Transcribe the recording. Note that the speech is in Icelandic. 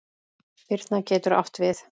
Birna getur átt við